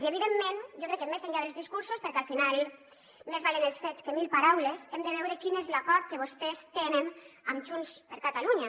i evidentment jo crec que més enllà dels discursos perquè al final més valen els fets que mil paraules hem de veure quin és l’acord que vostès tenen amb junts per catalunya